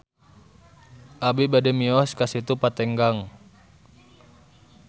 Abi bade mios ka Situ Patenggang